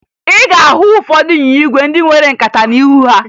Ị ga-ahụ ụfọdụ ịnyịnya ígwè ndị nwere nkata n'ihu ha